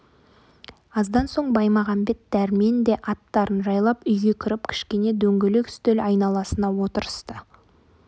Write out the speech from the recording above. аздан соң баймағамбет дәрмен де аттарын жайлап үйге кіріп кішкене дөңгелек үстел айналасына отырысты